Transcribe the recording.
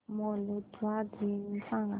Moldova दिन सांगा